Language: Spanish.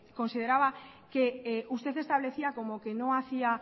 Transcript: consideraba que usted establecía como que no hacía